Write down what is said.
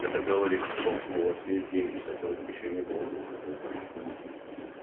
это говорит о том что у вас есть деньги которых ещё не было год назад